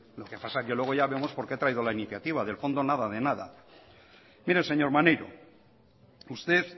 lo que pasa que luego ya vemos por qué ha traído la iniciativa del fondo nada de nada mire señor maneiro usted